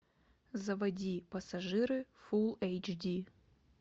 заводи пассажиры фулл эйч ди